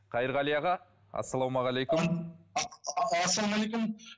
қайырғали аға ассалаумағалейкум ассалаумағалейкум